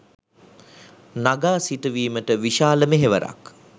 නඟා සිටුවීමට විශාල මෙහෙවරක්